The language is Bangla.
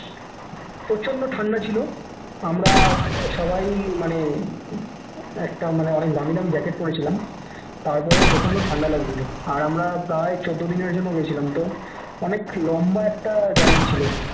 প্রচন্ড ঠান্ডা ছিল আমরা সবাই মানে উম একটা মানে অনেক দামী দামী jacket পরে ছিলাম তারপরও প্রচন্ড ঠান্ডা লাগছিল আর আমরা প্রায় চোদ্দ দিনের জন্য গেছিলাম তো অনেক লম্বা একটা journey ছিল